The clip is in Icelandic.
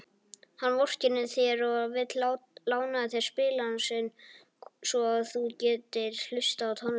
Hann vorkennir þér og vill lána þér spilarann sinn svo þú getir hlustað á tónlist.